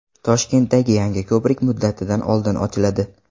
Toshkentdagi yangi ko‘prik muddatidan oldin ochiladi.